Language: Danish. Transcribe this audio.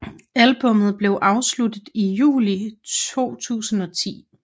Albummet blev afsluttet i juli 2010